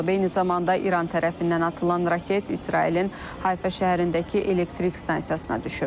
Eyni zamanda İran tərəfindən atılan raket İsrailin Hayfa şəhərindəki elektrik stansiyasına düşüb.